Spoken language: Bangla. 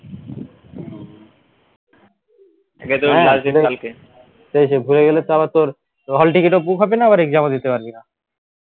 সেই সেই ভুলে গেলে তো আবার তোর hall ticket ও book হবে না আবার exam ও দিতে পারবি না